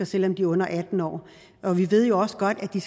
selv om de er under atten år og vi ved også godt at de